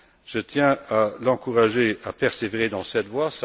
Je tiens à l'encourager à persévérer dans cette voie.